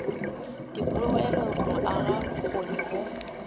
dipoelo go aga bokgoni go